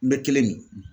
N bɛ kelen de